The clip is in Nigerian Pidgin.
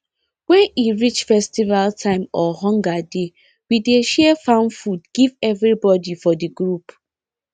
when e reach festival time or hunger dey we dey share farm food give everybody for the group